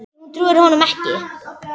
Nei hún trúir honum ekki.